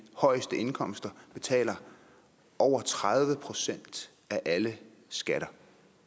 højeste indkomster betaler over tredive procent af alle skatter